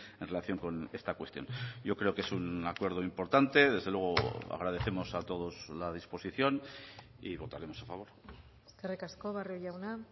en relación con esta cuestión yo creo que es un acuerdo importante desde luego agradecemos a todos la disposición y votaremos a favor eskerrik asko barrio jauna